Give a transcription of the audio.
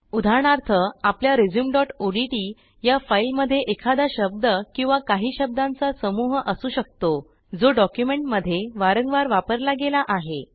उदाहरणार्थ आपल्या resumeओडीटी या फाईलमध्ये एखादा शब्द किंवा काही शब्दांचा समूह असू शकतो जो डॉक्युमेंटमध्ये वारंवार वापरला गेला आहे